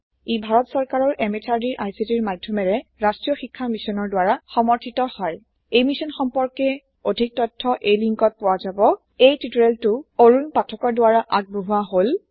ই ভাৰত সৰকাৰৰ MHRDৰ ICTৰ মাধ্যমেৰে ৰাষ্ট্ৰীয় শীক্ষা মিছনৰ দ্ৱাৰা সমৰ্থিত হয় এই মিছন সম্পৰ্কে অধিক তথ্য এই লিন্কত পোৱা যাব এই টিউটৰিয়েলটো অৰুন পাঠকৰ দ্ৱাৰা আগবঢ়োৱা হল